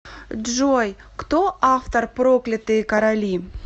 джой кто автор проклятые короли